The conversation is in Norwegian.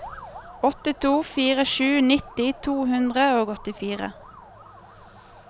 åtte to fire sju nitti to hundre og åttifire